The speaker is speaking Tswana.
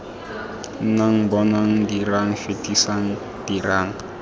nnang bonang dirang fetisang dirang